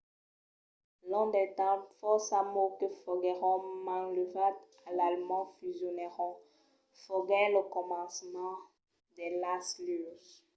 long del temps fòrça mots que foguèron manlevats a l’alemand fusionèron. foguèt lo començament de las luses